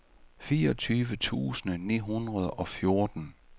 fireogtyve tusind ni hundrede og fjorten